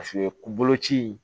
Paseke koloci